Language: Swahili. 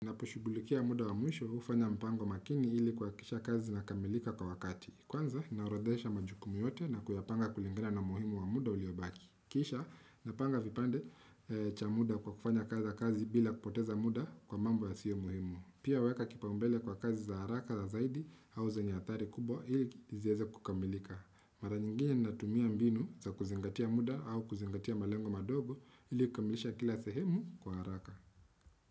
Napo shugulikia muda wa mwisho hufanya mpango makini ili kuhakikisha kazi inakamilika kwa wakati. Kwanza, naoradhesha majukumu yote na kuyapanga kulingina na muhimu wa muda uliobaki. Kisha, napanga vipande cha muda kwa kufanya kaza kazi bila kupoteza muda kwa mambo ya sio muhimu. Pia weka kipaumbele kwa kazi za haraka za zaidi au za nyatari kubwa ili izieze kukamilika. Mara nyingine natumia mbinu za kuzingatia muda au kuzingatia malengo madogo ili kukamilisha kila sehemu kwa haraka.